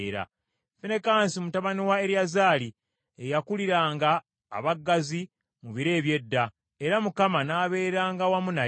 Finekaasi mutabani wa Eriyazaali ye yakuliranga abaggazi mu biro eby’edda, era Mukama n’abeeranga wamu naye.